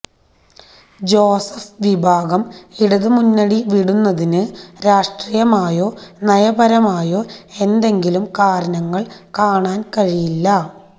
Joseph വിഭാഗം ഇടതുമുന്നണി വിടുന്നതിന് രാഷ്ട്രീയമായോ നയപരമായോ എന്തെങ്കിലും കാരണങ്ങള് കാണാന് കഴിയില്ല